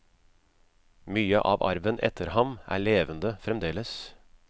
Mye av arven etter ham er levende fremdeles.